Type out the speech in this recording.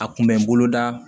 A kun bɛ n bolo da